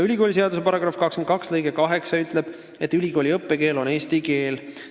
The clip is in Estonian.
Ülikooliseaduse § 22 lõige 8 ütleb, et ülikooli õppekeel on eesti keel.